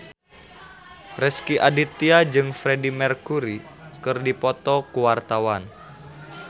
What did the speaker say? Rezky Aditya jeung Freedie Mercury keur dipoto ku wartawan